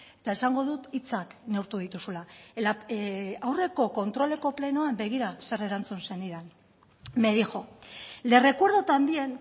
eta esango dut hitzak neurtu dituzula aurreko kontroleko plenoan begira zer erantzun zenidan me dijo le recuerdo también